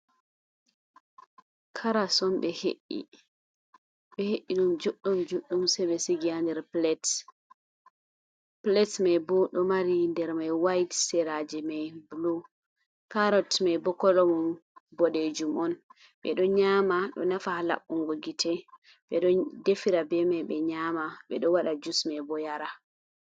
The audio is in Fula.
Caras on ɓe hei'i ɗum juɗɗum juɗɗum sei ɓe sigi ha nder plaite plaited mai bo ɗo mari nder mai white seraji mai blu carrott mai bo kolomun boɗejum on ɓe ɗo nyama ɗo nafa ha laɓɓungo gite be ɗon defira be mai ɓe nyama ɓedo waɗa jus mai bo yara.